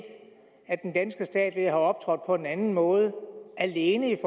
at den danske stat ved at have optrådt på en anden måde alene i